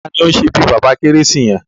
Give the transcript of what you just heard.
Taàní ó ṣe bí Baba keresi yẹn?